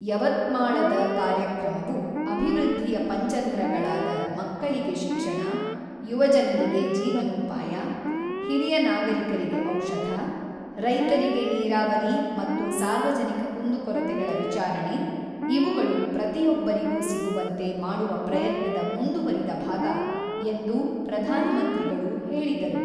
ಯವತ್ಮಾಳದ ಕಾರ್ಯಕ್ರಮವು ಅಭಿವೃದ್ಧಿಯ ಪಂಚಧರಗಳಾದ ಮಕ್ಕಳಿಗೆ ಶಿಕ್ಷಣ, ಯುವಜನರಿಗೆ ಜೀವನೋಪಾಯ, ಹಿರಿಯ ನಾಗರಿಕರಿಗೆ ಔಷಧ, ರೈತರಿಗೆ ನೀರಾವರಿ ಮತ್ತು ಸಾರ್ವಜನಿಕ ಕುಂದುಕೊರತೆಗಳ ವಿಚಾರಣೆ ಇವುಗಳು ಪ್ರತಿಯೊಬ್ಬರಿಗೂ ಸಿಗುವಂತೆ ಮಾಡುವ ಪ್ರಯತ್ನದ ಮುಂದುವರಿದ ಭಾಗ ಎಂದು ಪ್ರಧಾನ ಮಂತ್ರಿಗಳು ಹೇಳಿದರು.